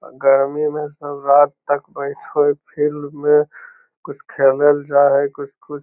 गर्मी में सब रात तक बैठे होय फील्ड में कुछ खेले ले जाय हेय कुछ-कुछ --